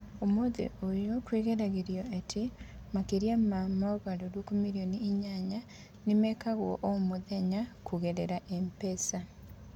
Ũmũthĩ ũyũ, kwĩgeragĩrio atĩ makĩria ma mogarũrũku milioni inyanya nĩ mekagwo o mũthenya kũgerera M-PESA.